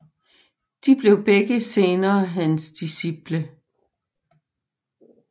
De blev begge senere hans disciple